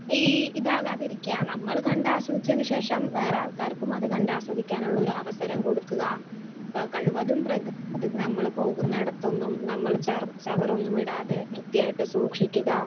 Speaker 1 ഈ ഇത് ആകാതെ ഇരിക്കാ നമ്മള് കണ്ട് ആസ്വദിച്ചതിന് ശേഷം വേറെ ആൾക്കാർക്കും അത് കണ്ട് ആസ്വദിക്കാനുള്ള ഒരവസരം കൊടുക്കുക. ഏഹ് കഴിവതും പ്രകൃതി നമ്മള് പോകുന്ന ഇടത്തൊന്നും നമ്മള് ചറ ചവറൊന്നും ഇടാതെ വൃത്തിയായിട്ട് സൂക്ഷിക്കുക